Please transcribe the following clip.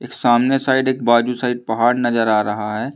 एक सामने साइड एक बाजू साइड पहाड़ नजर आ रहा है।